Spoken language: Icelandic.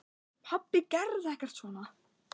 Pabbi gerði ekkert svona.